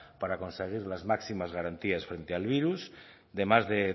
para conseguir las máximas garantías frente al virus de más de